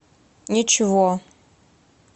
ничего